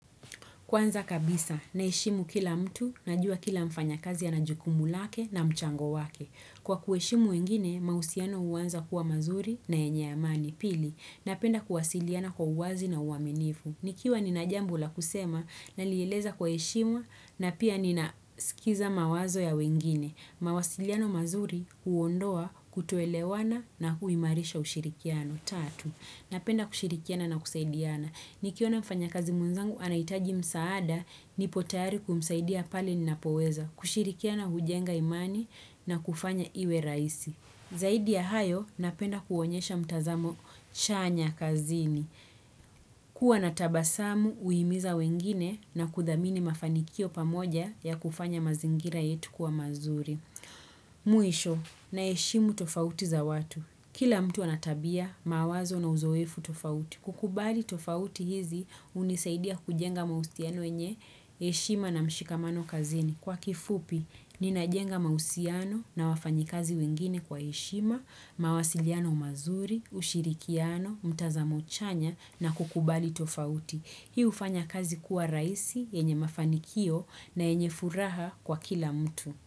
Kwanza kabisa, naheshimu kila mtu, najua kila mfanya kazi ana jukumu lake na mchango wake. Kwa kueshimu wengine, mahusiano huanza kuwa mazuri na yenye amani. Pili, napenda kuwasiliana kwa uwazi na uwaminifu. Nikiwa nina jambo la kusema, nalieleza kwa heshima na pia nina skiza mawazo ya wengine. Mawasiliano mazuri, huondoa, kutoelewana na huimarisha ushirikiano. Tatu, napenda kushirikiana na kusaidiana. Nikiona mfanya kazi mwenzangu, anahitaji msaada, nipo tayari kumsaidia pale ninapoweza, kushirikiana hujenga imani na kufanya iwe raisi. Zaidi ya hayo, napenda kuonyesha mtazamo chanya kazini. Kuwa nat tabasamu, huhimiza wengine na kudhamini mafanikio pamoja ya kufanya mazingira yetu kuwa mazuri. Mwisho, naheshimu tofauti za watu. Kila mtu ana tabia, mawazo na uzoefu tofauti. Kukubali tofauti hizi hunisaidia kujenga mahusiano yenye, heshima na mshikamano kazini. Kwa kifupi, ninajenga mahusiano na wafanyikazi wengine kwa heshima, mawasiliano mazuri, ushirikiano, mtazamo chanya na kukubali tofauti. Hii hufanya kazi kuwa rahisi yenye mafanikio na yenye furaha kwa kila mtu.